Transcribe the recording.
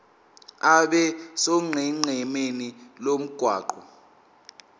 abe sonqenqemeni lomgwaqo